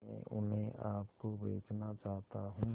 मैं उन्हें आप को बेचना चाहता हूं